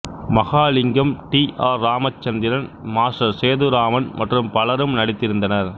Mahalingam T R Ramachandran master Sethuraman மற்றும் பலரும் நடித்திருந்தனர்